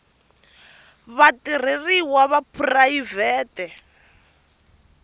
tingo na vatirheriwa va phurayivhete